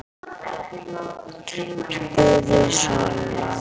spurði Solla.